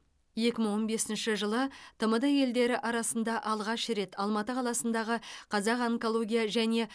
екі мың он бесінші жылы тмд елдері арасында алғаш рет алматы қаласындағы қазақ онкология және